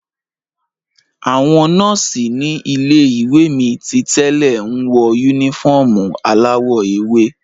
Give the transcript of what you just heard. Àwọn nọ́ọ̀sì ní ilé-iwe mi titẹ́lẹ̀ nwọ unifọmú aláwọ̀ ewé.